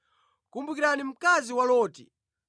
Kumbukirani mkazi wa Loti!